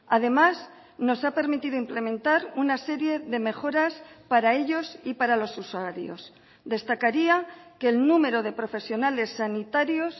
además nos ha permitido implementar una serie de mejoras para ellos y para los usuarios destacaría que el número de profesionales sanitarios